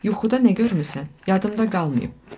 Yuxuda nə görmüsən, yadımda qalmayıb.